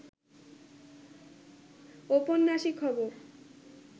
ঔপন্যাসিক হব